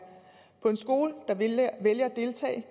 på en skole der vælger